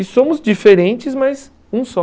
E somos diferentes, mas um só.